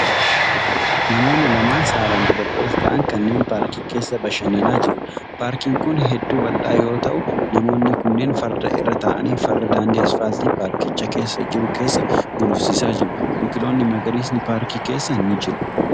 Namoonni lamaan saalan dubaroota ta'an kunneen paarkii keessa bashannanaa jiru. Paarkiin kun hedduu bal'aa yoo ta'u, namoonni kunneen farda irra ta'anii farda daandii asfaaltii paarkicha keessa jiru keessa gulufsiisaa jiru. Biqiloonni magariisni paarkii keessa ni jiru.